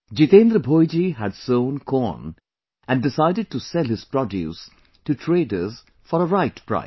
Jitendra Bhoiji had sown corn and decided to sell his produce to traders for a right price